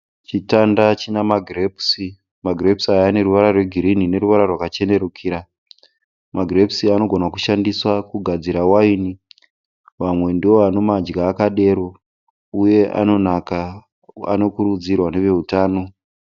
Chitanda china magirepusi. Magirepusi aya ane ruwara rwe girini neruwara rwakachenerukira. Magirepusi anogona kushandiswa kugadzira waini, vamwe ndovanomadya akadero uye anonaka anokurudzirwa nevehutano.